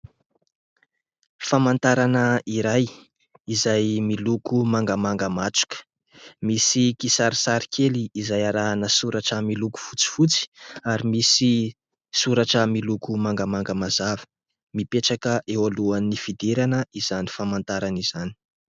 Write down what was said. Famantarana iray izay miloko mangamanga matroka. Misy kisarisary kely izay arahana soratra miloko fotsifotsy ary misy soratra miloko mangamanga mazava. Mipetraka eo alohan'ny fidirana izany famantarana izany.